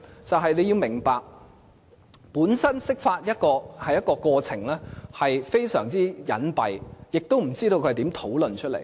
因為你要明白，釋法的過程本身是非常隱蔽，亦不知道是如何討論。